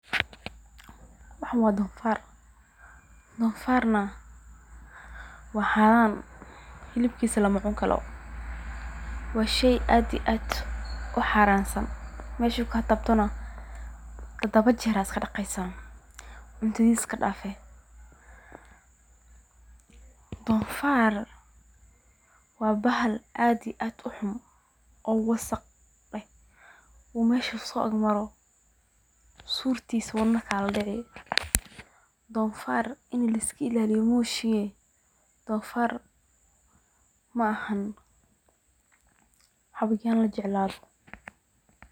Waxaan waa donfaar, waa xaaran, hilibkiisa lama cuni karo, meesha uu kaa taabto tadaba jeer ayaa ladaqaa, waa bahal wasaq ah, in laiska ilaaliyo maahane maaha xayawan lajeclaado.